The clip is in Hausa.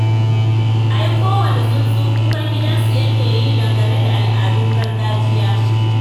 Ai kowane tsuntsu kukan gidansu yake yi dangane da al'adun gargajiya.